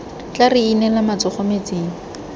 tla re inela matsogo metsing